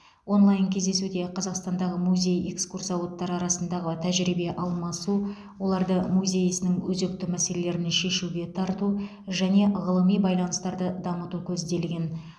онлайн кездесуде қазақстандағы музей экскурсоводтары арасындағы тәжірибе алмасу оларды музей ісінің өзекті мәселелерін шешуге тарту және ғылыми байланыстарды дамыту көзделген